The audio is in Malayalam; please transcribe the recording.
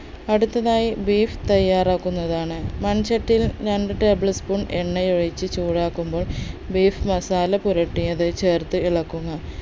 അടുത്തതായി beef തയ്യാറാക്കുന്നതാണ് മൺചട്ടിയിൽ രണ്ട് tablespoon എണ്ണയൊഴിച്ച് ചൂടാക്കുമ്പോൾ beef masala പുരട്ടിയത് ചേർത്ത് ഇളക്കുക